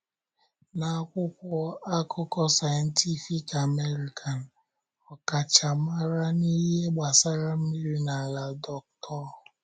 N’akwụkwọ akụkọ Scientific American, ọkachamara n’ihe gbasara mmiri na ala, Dr.